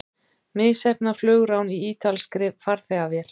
Misheppnað flugrán í ítalskri farþegavél